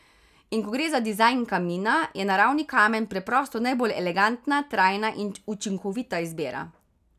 In ko gre za dizajn kamina, je naravni kamen preprosto najbolj elegantna, trajna in učinkovita izbira.